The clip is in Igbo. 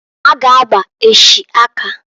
Ha g' agba echi aka.